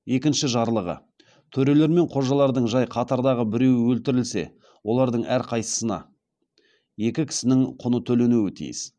екінші жарлығы төрелер мен қожалардың жай қатардағы біреуі өлтірілсе олардың әрқайсысына екі кісінің құны төленуі тиіс